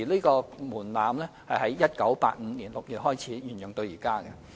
該門檻自1985年6月開始沿用至今。